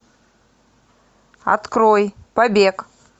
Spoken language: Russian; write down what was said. открой побег